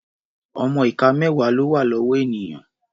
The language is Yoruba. Ọmọ ìka mẹ́wà ló wà lọ́wọ́ ènìyàn.